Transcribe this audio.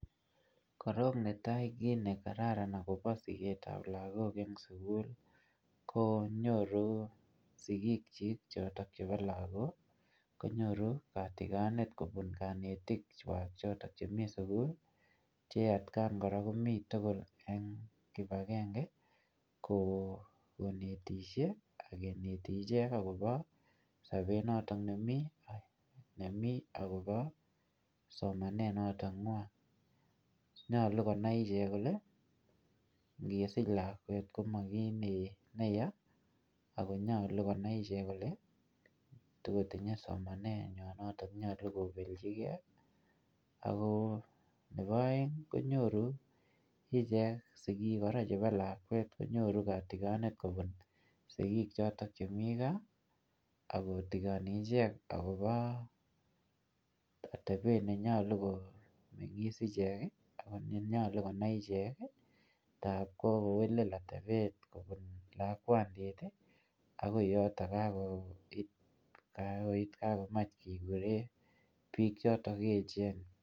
Korok netai kit ne kararan akobo siketab lagok eng' sugul konyoru sigik chik chotok chebo lagok, konyoru katigonet kobun kanetik chwak chotok chemi sugul che atkaan kora komi tugul eng' kibagenge, ko konetishie, akeneti ichek akobo sobet notok nemi, nemi akobo somanet notok ng'wong. Nyolu konai ichek kole, ngesich lakwet komomi kiy neyaa, akonyolu konai ichek kole tikotinye somanet nywaa notok nyolu kobelchikey, ako nebo aeng konyoru ichek sigik kora chebo lakwet konyoru katigonet kobun sigik chotok chemi gaa, akotigoni icheck akobo atebet nenyolu ko nyikis ichek, anan ne nyolu konai ichek. Ngapkowelel atebet kobun lakwandit akoi yotok kakokich, kakoit kakomach kekure biik chotok echen.